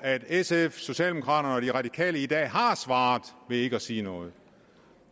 at sf socialdemokraterne og de radikale i dag har svaret ved ikke at sige noget